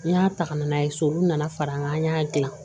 N y'a ta ka na n'a ye so olu nana fara an kan an y'a dilan